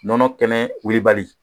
Nɔnɔ kɛnɛ wulibali